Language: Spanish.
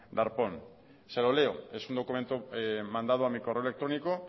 darpón se lo leo es un documento mandado a mi correo electrónico